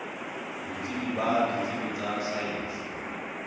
botsebi ba ditsebi tsa saense